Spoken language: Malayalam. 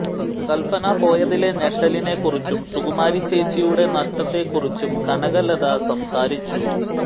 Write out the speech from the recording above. കല്പന പോയതിലെ ഞെട്ടലിനെ കുറിച്ചും സുകുമാരി ചേച്ചിയുടെ നഷ്ടത്തെ കുറിച്ചും കനകലത സംസാരിച്ചു